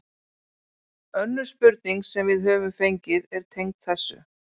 Önnur spurning sem við höfum fengið er tengd þessu: